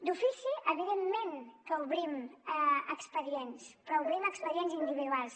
d’ofici evidentment que obrim expedients però obrim expedients individuals